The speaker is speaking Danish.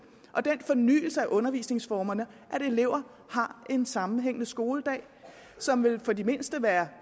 og den fornyelse af undervisningsformerne at eleverne har en sammenhængende skoledag som for de mindste